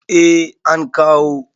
eh an kawo